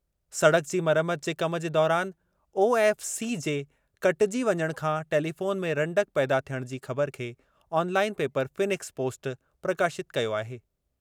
सड़क जी मरमत जे कम जे दौरानि ओएफ़सी जे कटिजी वञणु सां टेलीफ़ोन में रंडक पैथा थियणु जी ख़बरु खे ऑनलाइन पेपर फीनिक्स पोस्ट प्रकाशितु कयो आहे।